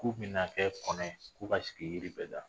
K'u bɛna kɛ kɔnɔ ko ka sigi yiri bɛ la